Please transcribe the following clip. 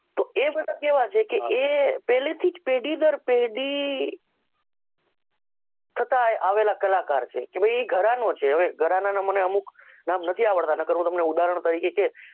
એ બધાં કેવા છે કે એ પહેલથી જ પેઢી દર પેઢી છતા આવેલા કલાકાર છે તે ઈ ઘરાનો છે બરાબર અમુક નામ નથી આવડતા નકાર હું તમને ઉદાહરણ તરીકે કેત